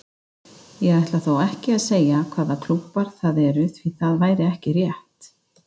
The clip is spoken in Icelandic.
Ég ætla þó ekki að segja hvaða klúbbar það eru því það væri ekki rétt.